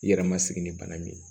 I yɛrɛ ma sigi ni bana min ye